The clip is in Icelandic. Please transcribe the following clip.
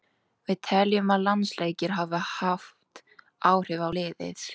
Við teljum að landsleikir hafi haft áhrif á liðið.